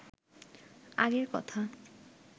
আগের কথা